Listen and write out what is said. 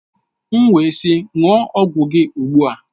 M wee sị ṅụọ ọgwụ gị ugbu a!